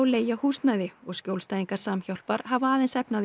leigja húsnæði og skjólstæðingar Samhjálpar hafa aðeins efni á